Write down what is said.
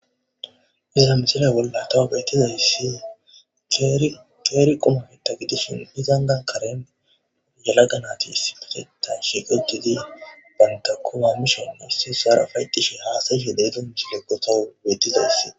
iza misila bolla tawu bettizayssi keeri qumata gidishin izanni karene yelaga nati issipetetan shiqqiddi uttid banta qumma mishshe issi isaara uffayetishshe haasayishe de'izo misileyo tawu beettizayssi.